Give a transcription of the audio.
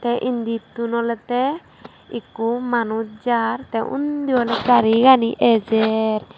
tey inditun olodey ikko manuj jaar tey undi oley garigani ejer.